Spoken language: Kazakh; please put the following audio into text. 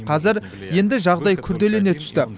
қазір енді жағдай күрделене түсті